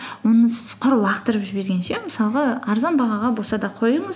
оны сіз құр лақтырып жібергенше мысалға арзан бағаға болса да қойыңыз